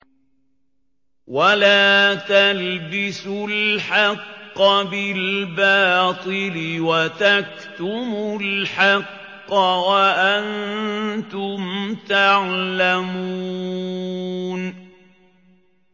وَلَا تَلْبِسُوا الْحَقَّ بِالْبَاطِلِ وَتَكْتُمُوا الْحَقَّ وَأَنتُمْ تَعْلَمُونَ